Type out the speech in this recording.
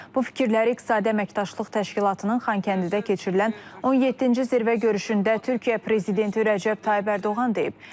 Bu fikirləri iqtisadi əməkdaşlıq təşkilatının Xankəndidə keçirilən 17-ci zirvə görüşündə Türkiyə prezidenti Rəcəb Tayyip Ərdoğan deyib.